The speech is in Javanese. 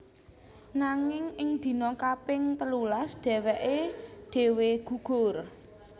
Nanging ing dina kaping telulas dhèwèké dhéwé gugur